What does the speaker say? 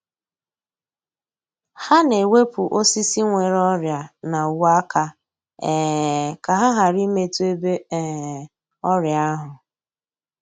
Ha na-ewepụ osisi nwere ọrịa na uwe-aka um ka ha ghara imetụ ebe um ọrịa ahụ.